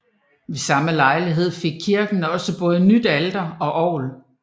Ved samme lejlighed fik kirken også både nyt alter og orgel